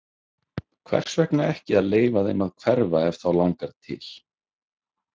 Hvers vegna ekki að leyfa þeim að hverfa ef þá langar til?